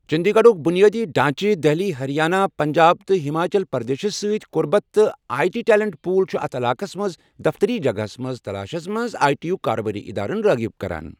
چندی گڑھُک بنیٲدی ڈھانچہ، دہلی، ہریانہ، پنجاب تہٕ ہماچل پردیشس ستۍ قربت تہٕ آئی ٹی ٹیلنٹ پول چھِ اتھ علاقس منٛز دفتری جگہس منٛز تلاشس منٛز آئی ٹی یُک کاروباری ادارن رٲغب کران۔